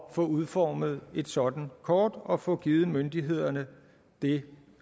at få udformet et sådant kort og få givet myndighederne det